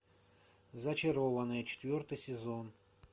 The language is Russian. зачарованные четвертый сезон